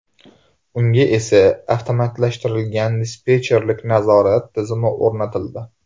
Unga esa avtomatlashtirilgan dispetcherlik nazorat tizimi o‘rnatildi.